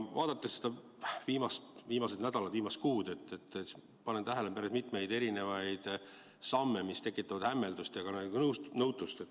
Vaadates viimaseid nädalaid, viimast kuud, panen tähele päris mitmeid samme, mis tekitavad hämmeldust ja ka nõutust.